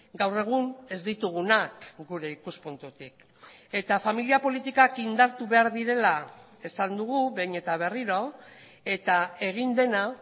gaur egun ez ditugunak gure ikuspuntutik eta familia politikak indartu behar direla esan dugu behin eta berriro eta egin dena